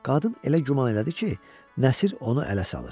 Qadın elə güman elədi ki, Nəsir onu ələ salır.